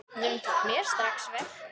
Nunna tók mér strax vel.